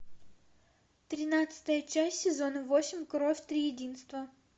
тринадцатая часть сезона восемь кровь триединства